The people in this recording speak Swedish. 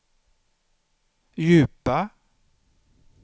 djupa